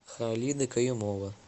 халида каюмова